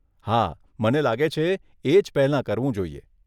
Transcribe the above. હા, મને લાગે છે, એજ પહેલાં કરવું જોઈએ.